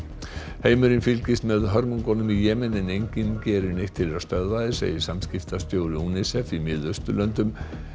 heimurinn fylgist með hörmungum í Jemen en enginn gerir neitt til að stöðva þær segir samskiptastjóri UNICEF í Mið Austurlöndum